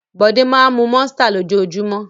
Bọ̀dé máa ń mú Monster lójoojúmọ́.